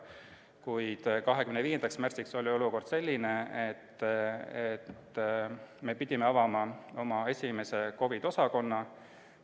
Kuid 25. märtsiks oli olukord selline, et me pidime avama oma esimese COVID-i osakonna.